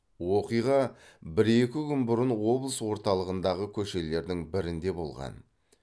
оқиға бір екі күн бұрын облыс орталығындағы көшелердің бірінде болған